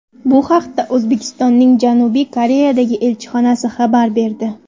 Bu haqda O‘zbekistonning Janubiy Koreyadagi elchixonasi xabar berdi .